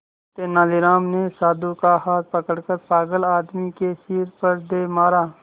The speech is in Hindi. तेनालीराम ने साधु का हाथ पकड़कर पागल आदमी के सिर पर दे मारा